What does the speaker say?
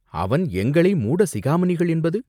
அவன் எங்களை மூட சிகாமணிகள் என்பது?